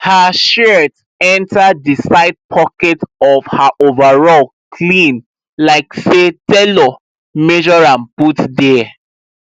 her shears enter the side pocket of her overall clean like say tailor measure am put there